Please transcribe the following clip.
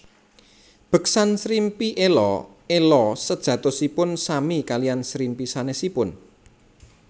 Beksan Srimpi Ela ela sejatosipun sami kalian srimpi sanesipun